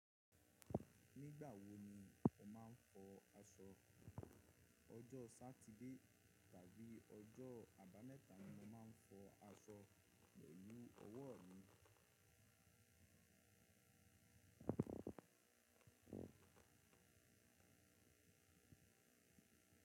Nígbà wo ni o máa ń fọ aṣọ? Ọjọ́ Sátidé tàbí ọjọ́ abamẹ́ta ni mo máa ń fọ aṣọ pelu ọwọ́ mi.